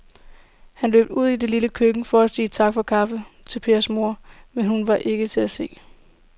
Han løb ud i det lille køkken for at sige tak for kaffe til Pers kone, men hun var ikke til at se.